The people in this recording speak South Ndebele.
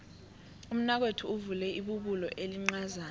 umnakwethu uvule ibubulo elincazana